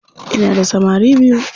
Ina da samari biyu.